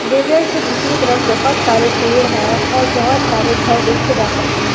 रिवेड के दूसरे तरफ बहुत सारे पेड़ है और बहुत सारे घर देखे जा सकते हैं।